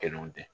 Kelenw tɛ